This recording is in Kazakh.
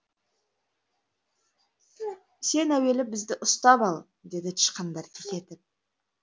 сен әуелі бізді ұстап ал деді тышқандар кекетіп